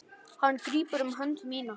Hann grípur um hönd mína.